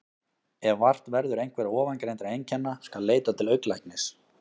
Ef vart verður einhverra ofangreindra einkenna skal leita til augnlæknis.